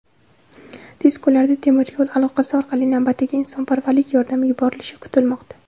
Tez kunlarda temir yo‘l aloqasi orqali navbatdagi insonparvarlik yordami yuborilishi kutilmoqda.